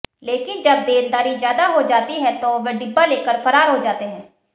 लेकिन जब देनदारी ज्यादा हो जाती है तो वे डिब्बा लेकर फरार हो जाते हैं